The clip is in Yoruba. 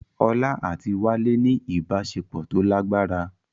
Olá àti Wálé ní ìbáṣepọ̀ tó lágbára